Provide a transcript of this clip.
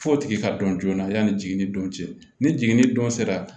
F'o tigi ka dɔn joona yan'i jiginni don cɛ ni jiginni don sera